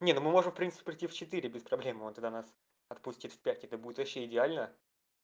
не ну мы можем в принципе прийти в четыре без проблем он тогда нас отпустит в пять это будет вообще идеально